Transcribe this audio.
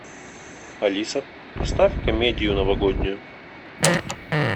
алиса поставь комедию новогоднюю